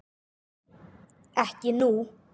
Ekki nú.